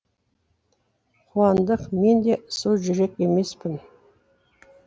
қуандық мен де су жүрек емеспін